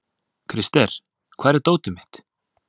Krister, hvar er dótið mitt?